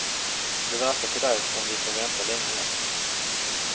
Det verkar på dig som vi får vänta länge än.